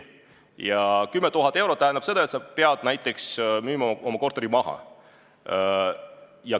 Ja 10 000 eurot tähendab seda, et sa pead näiteks oma korteri maha müüma.